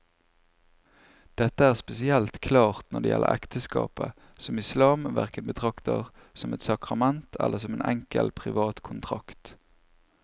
Dette er spesielt klart når det gjelder ekteskapet, som islam hverken betrakter som et sakrament eller som en enkel privat kontrakt.